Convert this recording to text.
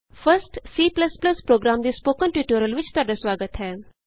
first C program ਦੇ spoken tutorial ਵਿਚ ਤੁਹਾਡਾ ਸੁਆਗਤ ਹੈ